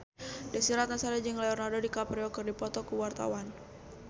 Desy Ratnasari jeung Leonardo DiCaprio keur dipoto ku wartawan